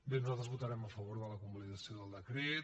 bé nosaltres votarem a favor de la convalidació del decret